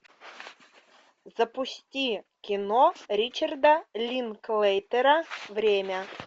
запусти кино ричарда линклейтера время